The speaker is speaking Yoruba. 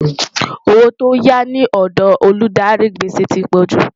owó tó yá ní òdò Olùdarí gbèsè tí pojú